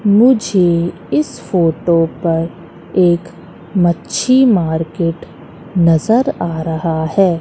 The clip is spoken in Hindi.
मुझे इस फोटो पर एक मच्छी मार्केट नजर आ रहा हैं।